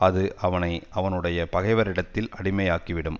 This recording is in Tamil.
அது அவனை அவனுடைய பகைவரிடத்தில் அடிமை ஆக்கிவிடும்